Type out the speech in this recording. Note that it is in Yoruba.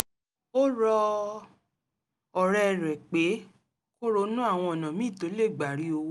ó rọ ọ̀rẹ́ rẹ̀ pé kó ronú àwọn ọ̀nà míì tó lè gbà rí owó